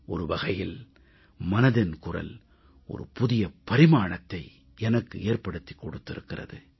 ஒரு வகையில் மனதின் குரல் புதிய பரிமாணத்தை எனக்கு ஏற்படுத்திக் கொடுத்திருக்கிறது